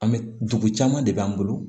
An bɛ dugu caman de b'an bolo